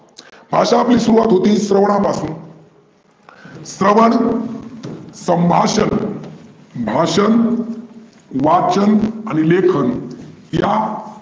भाषा आपली सुरूवात होते स्रवना पासून. स्रवन, संभाषन, भाषन, वाचन आणि लेखन या